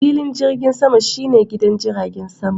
Filin jirgin sama shi ne gidan jiragen sama.